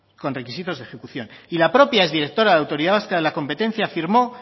con requisitos de ejecución y la propia exdirectora de la autoridad vasca de la competencia afirmó